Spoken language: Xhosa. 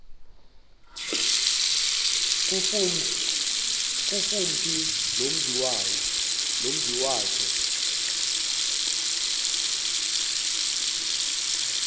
kufuphi nomzi wazo